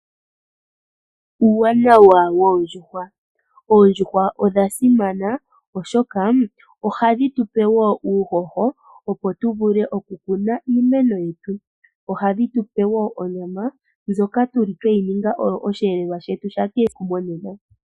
Uuwanawa woondjuhwa Oondjuhwa odha simana, oshoka ohadhi tu pe uuhoho, opo tu vule okukuna iimeno yetu. Ohadhi tu pe woo onyama ndjoka oyo osheelelwa shetu sha kehesiku monena.